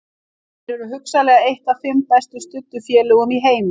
Þeir eru hugsanlega eitt af fimm best studdu félögum í heimi.